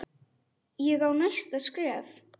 Ég á næsta skref.